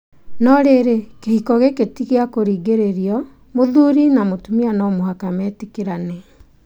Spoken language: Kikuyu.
No rĩrĩ, kĩhiko gĩkĩ ti kĩa kũringĩrĩrio, mũthuri na mũtumia no mũhaka metĩkĩrane.